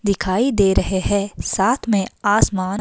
दिखाई दे रहे हैं साथ में आसमान--